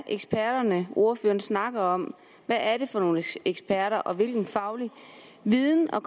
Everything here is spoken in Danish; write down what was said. eksperter ordføreren snakker om hvad er det for nogle eksperter og hvilken faglig viden og